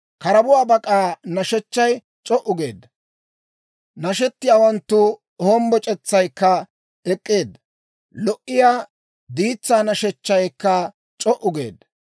Karabuwaa bak'aa nashechchay c'o"u geedda. Nashettiyaawanttu hombboc'etsaykka ek'k'eedda. Lo"iyaa diitsaa nashechchaykka c'o"u geedda.